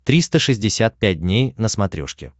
триста шестьдесят пять дней на смотрешке